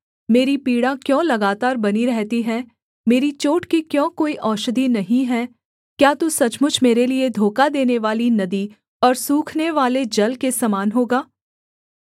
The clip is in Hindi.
मेरी पीड़ा क्यों लगातार बनी रहती है मेरी चोट की क्यों कोई औषधि नहीं है क्या तू सचमुच मेरे लिये धोखा देनेवाली नदी और सूखनेवाले जल के समान होगा